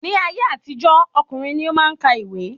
Ní ayé àtijó, ọkùnrin ni o maá n kà ìwé